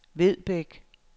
Vedbæk